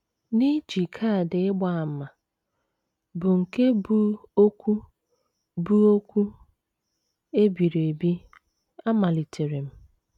N’iji kaadị ịgba àmà, bụ́ nke bu okwu bu okwu e biri ebi, amalitere m.